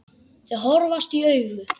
Þau horfast í augu.